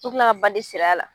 ka bandi siri a la